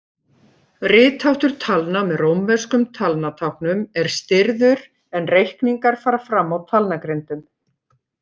Ritháttur talna með rómverskum talnatáknum er stirður en reikningar fara fram á talnagrindum.